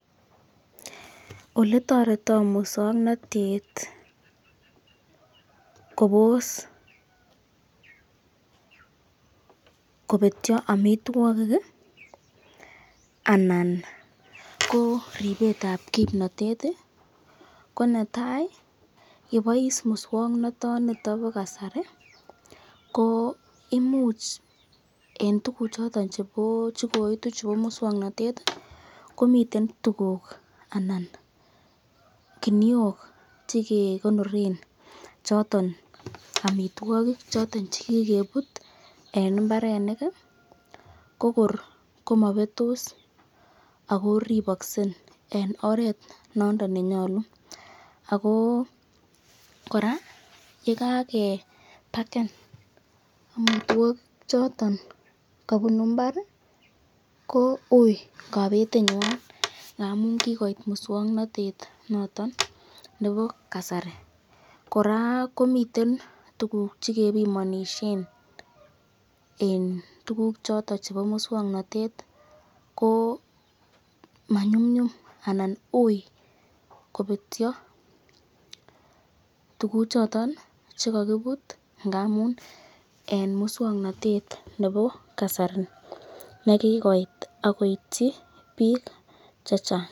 oletoretoo muswoknotet kobos kobetyo omitwogik iih anan ko ribeet ab kimnotet iih, konetai yebois muswonoto niton bo kasari, ko imuch en tuguk choton chegoitu chebo muswoknotet iih komiten tuguuk anan kiniook chegegonoren choton omitwogik choton chegigebuut en imbarenik iih kogoor komobetoos ago ribokse en oreet nondon nenyolu, ago koraa yegagebaken omitwogik choton kobunu imbaar iih kouu kobetenywaan amuun kigoit muswoknotet noton nebo kasari, koraa komiten tuguuk chegebimonishen en tuguk choton chebo muswoknotet iih komanyumnyum anan uui kobetyo tuguk choton chegogibuut ngamun en muswoknotet nebo kasari negigoit ak koityi biik chechang.